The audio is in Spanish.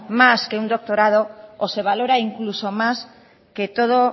más que un doctorado o se valora incluso más que todo